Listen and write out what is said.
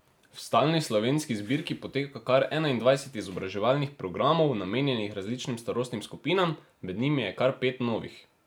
V stalni slovenski zbirki poteka kar enaindvajset izobraževalnih programov, namenjenih različnim starostnim skupinam, med njimi je kar pet novih.